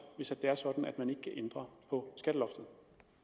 hvis det er sådan at man ikke kan ændre på skatteloftet